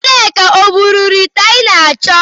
Nneka e buru ite anyị na-acho?